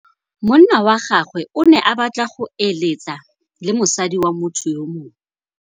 Monna wa gagwe o ne a batla go êlêtsa le mosadi wa motho yo mongwe.